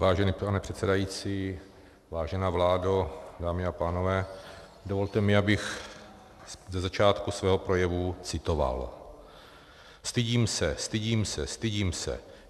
Vážený pane předsedající, vážená vládo, dámy a pánové, dovolte mi, abych ze začátku svého projevu citoval: "Stydím se, stydím se, stydím se.